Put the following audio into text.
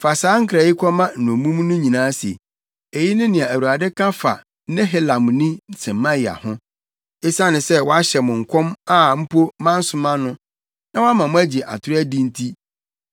“Fa saa nkra yi kɔma nnommum no nyinaa se, ‘Eyi ne nea Awurade ka fa Nehelamni Semaia ho: Esiane sɛ wahyɛ mo nkɔm a mpo mansoma no, na wama moagye atoro adi nti,